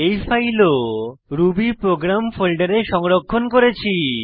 এই ফাইলও রুবিপ্রোগ্রাম ফোল্ডারে সংরক্ষণ করেছি